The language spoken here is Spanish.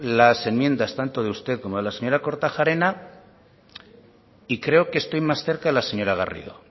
las enmiendas tanto de usted como de la señora kortajarena y creo que estoy más cerca de la señora garrido